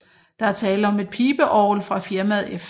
Der er tale om et pibeorgel fra firmaet F